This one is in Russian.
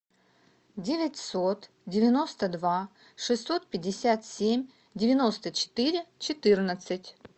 девятьсот девяносто два шестьсот пятьдесят семь девяносто четыре четырнадцать